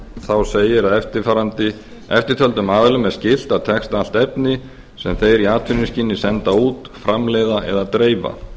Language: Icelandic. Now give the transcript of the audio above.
þá segir að eftirtöldum aðilum er skylt að texta allt efni sem þeir í atvinnuskyni senda út framleiða eða dreifa